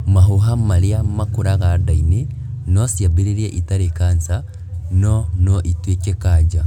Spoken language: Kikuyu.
Mahuha marĩa makũraga nda-inĩ nociambĩrĩrie itarĩ kanca, no noituĩke kanja